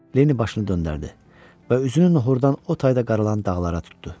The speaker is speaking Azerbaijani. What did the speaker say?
Lenni başını döndərdi və üzünü nohhurdan o tayda qaralan dağlara tutdu.